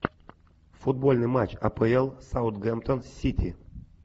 футбольный матч апл саутгемптон сити